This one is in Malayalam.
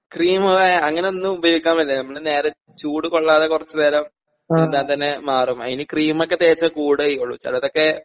ക്രീമ് ഏ അങ്ങനൊന്നും ഉപയോഗിക്കാൻ പറ്റില്ല നമ്മള് നേരെ ചൂട് കൊള്ളാതെ കൊറച്ച് നേരം ഇരുന്നാ തന്നെ മാറും അയ്ന് ക്രീമൊക്കെ തേച്ചാ കൂടേയീയുള്ളു ചെലതൊക്കെ.